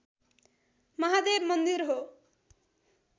महादेव मन्दिर हो